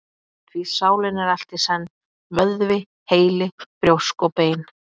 Því sálin er allt í senn: vöðvi, heili, brjósk og bein.